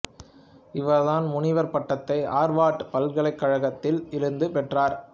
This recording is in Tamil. இவர் தன் முனைவர் பட்டத்தை ஆர்வார்டு பலகலிக்கழகத்தில் இருந்து பெற்றார்